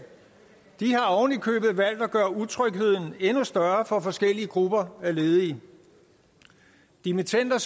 har oven i købet valgt at gøre utrygheden endnu større for forskellige grupper af ledige dimittender